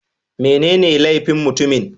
Menene laifin mutumin?